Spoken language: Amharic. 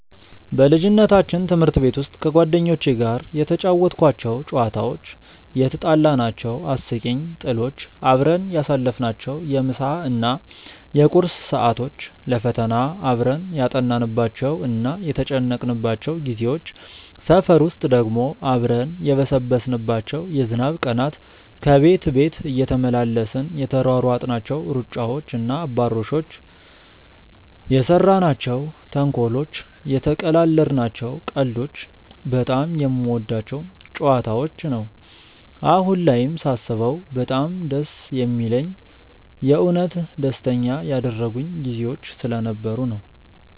በልጅነታችን ትምህርት ቤት ውስጥ ከጓደኞቼ ጋር የተጫወትኳቸው ጨዋታዎች፣ የትጣላናቸው አስቂኝ ጥሎች፣ አብረን ያሳለፍናቸውን የምሳ እና የቁርስ ሰዓቶች፣ ለፈተና አብረን ያጠናንባቸው እና የተጨነቅንባቸው ጊዜዎች፣ ሰፈር ውስጥ ደግሞ አብረን የበሰበስንባቸው የዝናብ ቀናት፣ ከቤት ቤት እየተመላለስን የተሯሯጥናቸው ሩጫዎች እና አባሮሾች፣ የሰራናቸው ተንኮሎች፣ የተቀላለድናቸው ቀልዶች በጣም የምወዳቸው ጨዋታዎች ነው። አሁን ላይም ሳስበው በጣም ደስ የሚለኝ የእውነት ደስተኛ ያደረጉኝ ጊዜዎች ስለነበሩ ነው።